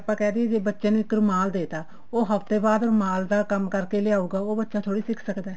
ਆਪਾਂ ਕਹਿ ਦੀਏ ਜੇ ਬੱਚੇ ਨੂੰ ਇੱਕ ਰੁਮਾਲ ਦੇਤਾ ਉਹ ਹਫਤੇ ਬਾਅਦ ਰੁਮਾਲ ਦਾ ਕੰਮ ਕਰਕੇ ਲਿਆਉਗਾ ਉਹ ਬੱਚਾ ਥੋੜੀ ਸਿੱਖ ਸਕਦਾ